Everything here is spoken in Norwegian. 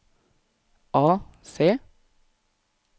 AC